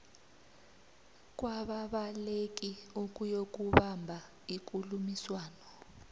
kwababaleki ukuyokubamba ikulumiswano